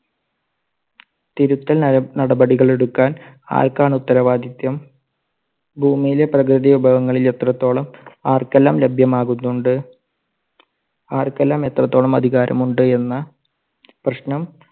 തിരുത്തൽ ന~നടപടികൾ എടുക്കാൻ ആർക്കാണ് ഉത്തരവാദിത്യം? ഭൂമിയിലെ പ്രകൃതി വിഭവങ്ങളിൽ എത്രത്തോളം ആർക്കെല്ലാം ലഭ്യമാകുന്നുണ്ട്? ആർക്കെല്ലാം എത്രത്തോളം അധികാരം ഉണ്ട്? എന്ന പ്രശ്നം